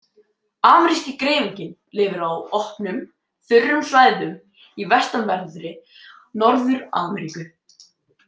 Ameríski greifinginn lifir á opnum, þurrum svæðum í vestanverðri Norður-Ameríku.